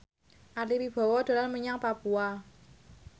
Ari Wibowo dolan menyang Papua